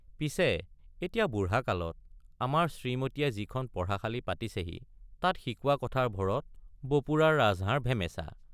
পিছে এতিয়া বুঢ়া কালত আমাৰ শ্ৰীমতীয়ে যিখন পঢ়াশালি পাতিছেহি তাত শিকোৱা কথাৰ ভৰত বপুৰাৰ ৰাজহাড় ভেমেছা।